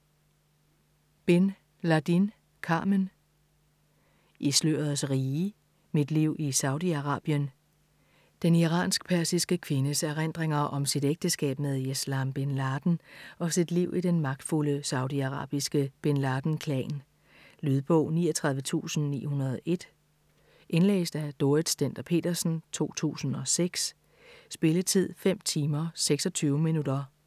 Bin Ladin, Carmen: I slørets rige: mit liv i Saudi-Arabien Den iransk-persiske kvindes erindringer om sit ægteskab med Yeslam Bin Laden og sit liv i den magtfulde saudiarabiske Bin Laden klan. Lydbog 34901 Indlæst af Dorrit Stender-Petersen, 2006. Spilletid: 5 timer, 26 minutter.